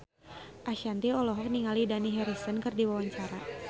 Ashanti olohok ningali Dani Harrison keur diwawancara